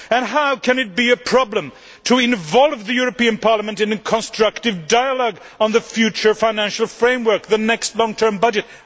How can it be a problem to involve the European Parliament in a constructive dialogue on the future financial framework and the next long term budget?